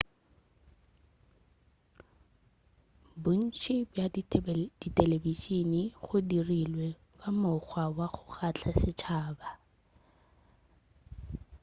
bontši bja dithelebišene bo dirilwe ka mokgwa wa go kgahla setšhaba